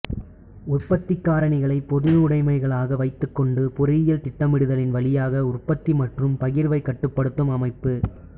உற்பத்தி காரணிகளை பொதுவுடமைகளாக வைத்துக்கொண்டு பொருளியல் திட்டமிடுதலின் வழியாக உற்பத்தி மற்றும் பகிர்வை கட்டுப்படுத்தும் அமைப்பு